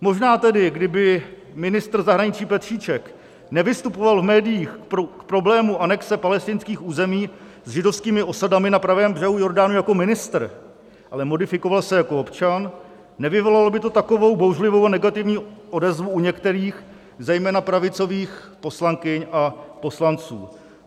Možná tedy kdyby ministr zahraničí Petříček nevystupoval v médiích k problému anexe palestinských území s židovskými osadami na pravém břehu Jordánu jako ministr, ale modifikoval se jako občan, nevyvolalo by to takovou bouřlivou a negativní odezvu u některých, zejména pravicových poslankyň a poslanců.